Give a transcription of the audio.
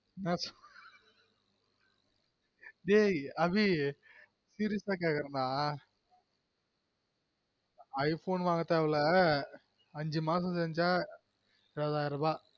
டேய் அபி serious ஆ கேக்குறன் டா i phone வாங்க தேவயில்ல அஞ்சு மாசம் செஞ்சா இருபதாயிரம் ரூபா